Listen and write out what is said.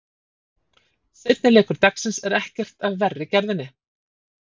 Seinni leikur dagsins er ekkert af verri gerðinni.